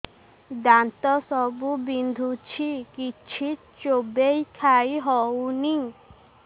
ଦାନ୍ତ ସବୁ ବିନ୍ଧୁଛି କିଛି ଚୋବେଇ ଖାଇ ହଉନି